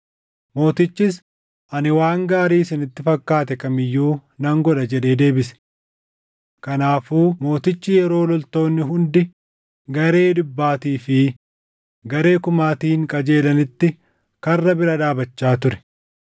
Mootichis, “Ani waan gaarii isinitti fakkaate kam iyyuu nan godha” jedhee deebise. Kanaafuu mootichi yeroo loltoonni hundi garee dhibbaatii fi garee kumaatiin qajeelanitti karra bira dhaabachaa ture.